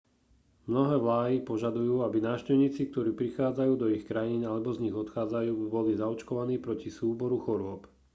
mnohé vláy požadujú aby návštevníci ktorí prichádzajú do ich krajín alebo z nich odchádzajú boli zaočkovaní proti súboru chorôb